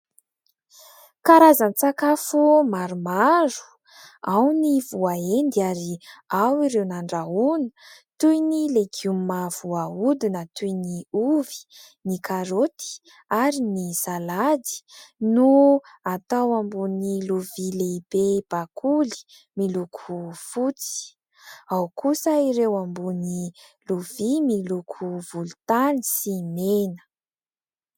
Karazan-tsakafo maromaro, ao ny voaendy ary ao ireo nandrahoana toy ny legioma voahodina, toy ny ovy ny karoty ary ny salady no atao ambony lovia lehibe bakoly miloko fotsy, ao kosa ireo ambony lovia miloko volontany sy mena.